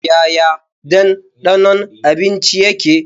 Yaya danɗanon abinci yake?